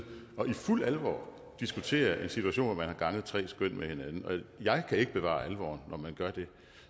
og i fuld alvor diskuterer en situation hvor man har ganget tre skøn med hinanden jeg kan ikke bevare alvoren når man gør det